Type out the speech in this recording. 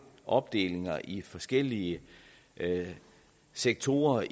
opdelinger i forskellige sektorer